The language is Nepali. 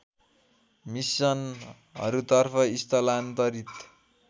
मिसनहरूतर्फ स्थलान्तरित